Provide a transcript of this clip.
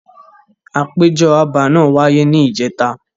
Àpéjọ abà náà wáyé ni ìjẹta.